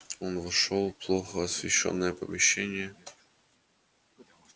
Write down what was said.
он вошёл в плохо освещённое помещение